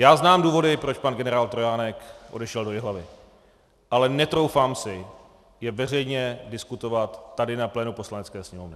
Já znám důvody, proč pan generál Trojánek odešel do Jihlavy, ale netroufám si je veřejně diskutovat tady na plénu Poslanecké sněmovny.